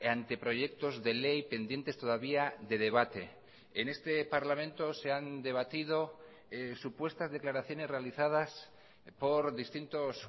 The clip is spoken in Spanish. anteproyectos de ley pendientes todavía de debate en este parlamento se han debatido supuestas declaraciones realizadas por distintos